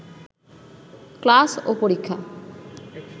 class ও পরীক্ষা